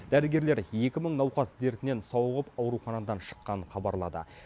дәрігерлер екі мың науқас дертінен сауығып ауруханадан шыққанын хабарлады